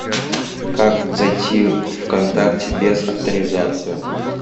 как зайти вконтакте без авторизации